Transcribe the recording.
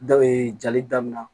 Da jali daminɛ